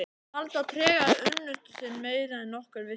Alda tregaði unnusta sinn meira en nokkur vissi.